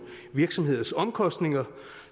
virksomheders omkostninger